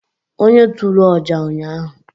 onye turu ọjà ụnyahụ